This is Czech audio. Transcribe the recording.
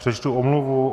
Přečtu omluvu.